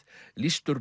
lýstur